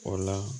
O la